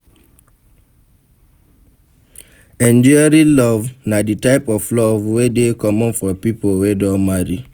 Enduring Love na di type of Love wey de common for pipo wey don marry